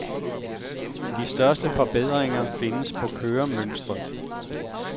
De største forbedringer findes på køremønstret.